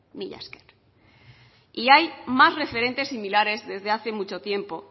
mila esker y hay más referentes similares desde hace mucho tiempo